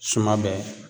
Suma bɛ